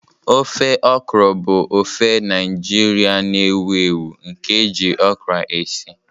Ofe okra bụ ofe Naijiria na-ewu ewu nke eji okra esi.